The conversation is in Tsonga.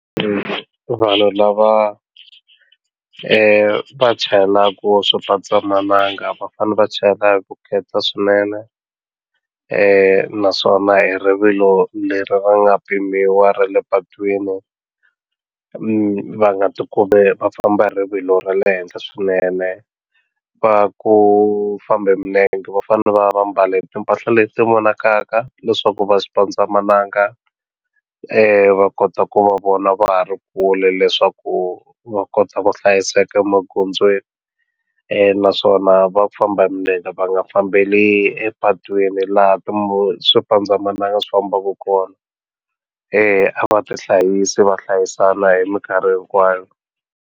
Vanhu lava va chayelaka swipandzamananga va fanele va chayela hi vukheta swinene naswona hi rivilo leri ri nga pimiwa ra le patwini va nga ti kumi va famba rivilo ra le henhla swinene va ku famba hi milenge va fanele va va mbale timpahla leti vonakaka leswaku va swipandzamananga va kota ku va vona va ha ri kule leswaku va kota ku hlayiseka emagondzweni naswona va ku famba hi milenge va nga fambeli epatwini laha swipandzamananga swi fambaku kona eya a va tihlayisi va hlayisana hi minkarhi hinkwayo.